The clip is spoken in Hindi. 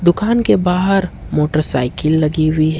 दुकान बाहर मोटरसाइकिल लगी हुई है।